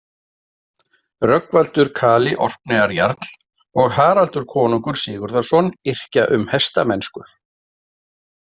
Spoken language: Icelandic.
Rögnvaldur kali Orkneyjajarl og Haraldur konungur Sigurðarson yrkja um hestamennsku.